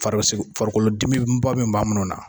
Farikolo farikolodimiba min b'a na